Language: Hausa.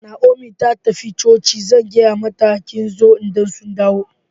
Naomi ta tafi coci, zan gaya mata kin zo idan mun dawo.